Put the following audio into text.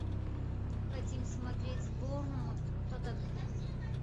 хотим смотреть борнмут тоттенхэм